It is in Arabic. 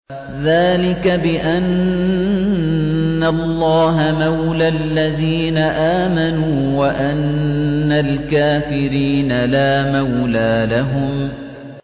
ذَٰلِكَ بِأَنَّ اللَّهَ مَوْلَى الَّذِينَ آمَنُوا وَأَنَّ الْكَافِرِينَ لَا مَوْلَىٰ لَهُمْ